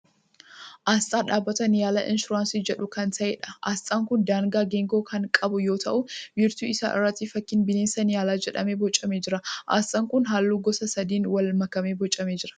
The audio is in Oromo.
Asxaa dhaabbata Niyaalaa Insuraansii jedhu kan ta'eedha. Asxaan kun danaa geengoo kan qabu yoo ta'u wiirtuu isaa irratti fakkiin bineensa Niyaalaa jedhamu boocamee jira. Asxaan kun halluu gosa sadiin wal makee boocamee jira.